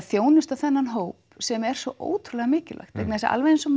þjónusta þennan hóp sem er svo ótrúlega mikilvægt vegna þess að alveg eins og